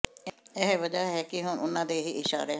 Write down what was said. ਇਹੀ ਵਜ੍ਹਾ ਹੈ ਕਿ ਹੁਣ ਉਨ੍ਹਾਂ ਦੇ ਹੀ ਇਸ਼ਾਰੇ